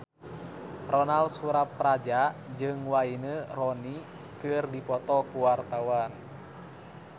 Ronal Surapradja jeung Wayne Rooney keur dipoto ku wartawan